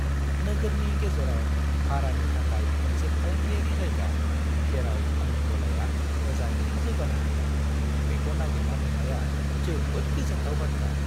नोगोरनि गेजेराव भारानि थाखाय मोनसे फालांगियारि जायगा जेराव आंनि गलाया मोजाङैनो जौगानो हागोन बेखौ नागिरना मोननाया जोबोद गोजोनथाव बाथ्रा।